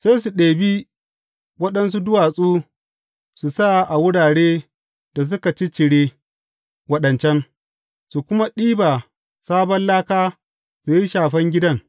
Sai su ɗebi waɗansu duwatsu su sa a wuraren da suka ciccire waɗancan, su kuma ɗiba sabon laka su yi shafen gidan.